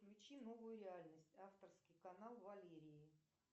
включи новую реальность авторский канал валерии